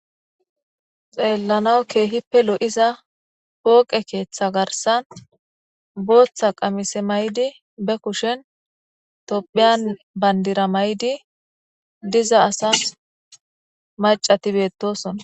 xeellanaw keehippe lo7iza pooqe keeththa garsan booththa qamise maydi be kushin tophiyan bandira may7di diza asas macati beettosonna